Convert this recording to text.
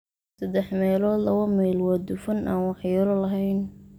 saddex meelood laba meel waa dufan aan waxyeello lahayn,